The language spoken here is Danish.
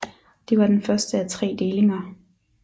Det var den første af tre delinger